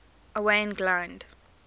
owain glynd